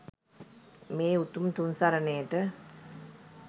මේ උතුම් තුන් සරණයට